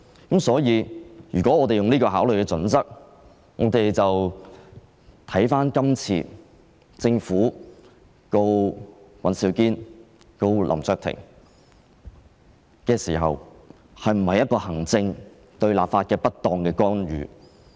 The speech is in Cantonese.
基於這個考慮的準則，我們便要看看香港特別行政區訴林卓廷及尹兆堅一案是否行政機關對立法會的不當干預。